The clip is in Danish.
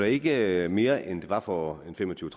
ikke mere end det var for en fem og tyve